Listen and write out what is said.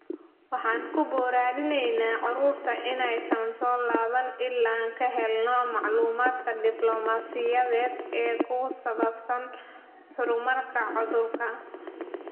"Waxaan ku boorineynaa carruurta inaysan soo laaban ilaa aan ka helno macluumaadka diblomaasiyadeed ee ku saabsan horumarka cudurka."